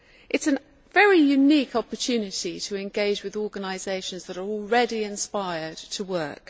It is a very unique opportunity to engage with organisations that are already inspired to work.